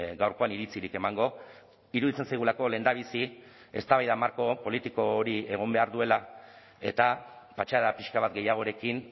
gaurkoan iritzirik emango iruditzen zaigulako lehendabizi eztabaida marko politiko hori egon behar duela eta patxada pixka bat gehiagorekin